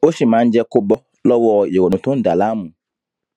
ó sì máa ń jé kó bó lówó ìrònú tó ń dà á láàmú